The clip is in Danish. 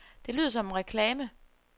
Det lyder som en reklame.